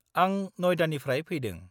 -आं नयदानिफ्राय फैदों।